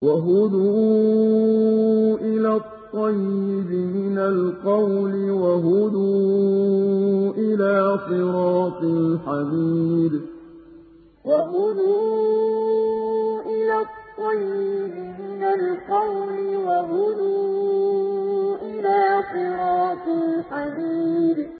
وَهُدُوا إِلَى الطَّيِّبِ مِنَ الْقَوْلِ وَهُدُوا إِلَىٰ صِرَاطِ الْحَمِيدِ وَهُدُوا إِلَى الطَّيِّبِ مِنَ الْقَوْلِ وَهُدُوا إِلَىٰ صِرَاطِ الْحَمِيدِ